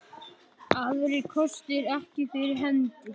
Aðrir kostir ekki fyrir hendi.